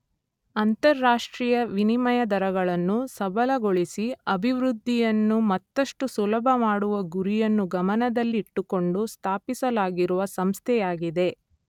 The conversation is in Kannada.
ಅಂತರರಾಷ್ಟ್ರೀಯ ವಿನಿಮಯ ದರಗಳನ್ನು ಸಬಲಗೊಳಿಸಿ ಅಭಿವೃದ್ಧಿಯನ್ನು ಮತ್ತಷ್ಟು ಸುಲಭ ಮಾಡುವ ಗುರಿಯನ್ನು ಗಮನದಲ್ಲಿ ಇಟ್ಟುಕೊಂಡು ಸ್ಥಾಪಿಸಲಾಗಿರುವ ಸಂಸ್ಥೆಯಾಗಿದೆ.